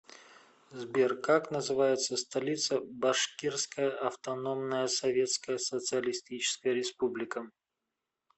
сбер как называется столица башкирская автономная советская социалистическая республика